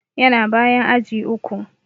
Yana bayan aji uku.